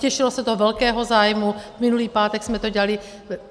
Těšilo se to velkému zájmu, minulý pátek jsme to dělali.